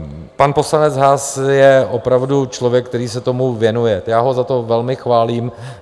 Pan poslanec Haas je opravdu člověk, který se tomu věnuje, já ho za to velmi chválím.